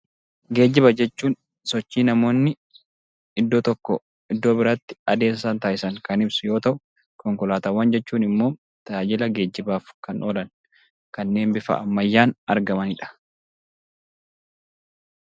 Geejjiba jechuun sochii namoonni iddoo tokkoo iddoo biraatti adeemsa isaan taasisan yoo ta'u, konkolaataawwan jechuun immoo tajaajila geejjibaaf kan oolan; kanneen bifa ammayyaan argamanidha.